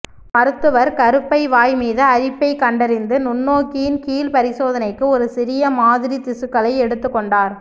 மருத்துவர் கருப்பை வாய் மீது அரிப்பைக் கண்டறிந்து நுண்ணோக்கியின் கீழ் பரிசோதனைக்கு ஒரு சிறிய மாதிரி திசுக்களை எடுத்துக் கொண்டார்